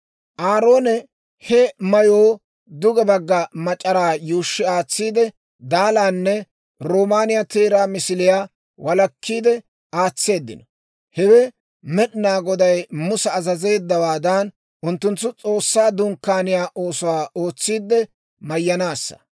Aaroone he mayoo duge bagga mac'araa yuushshi aatsiide, daalaanne roomaaniyaa teeraa misiliyaa walakkiide aatseeddino. Hewe Med'inaa Goday Musa azazeeddawaadan, unttunttu S'oossaa Dunkkaaniyaa oosuwaa ootsiidde mayyanaassa.